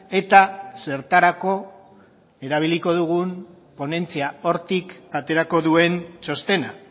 eta zertarako erabiliko dugun ponentzia hortik aterako duen txostena